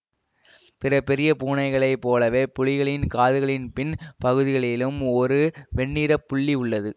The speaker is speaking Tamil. பிற பெரிய பூனைகளைப் போலவே புலிகளின் காதுகளின் பின் பகுதியிலும் ஒரு வெண்ணிறப் புள்ளி உள்ளது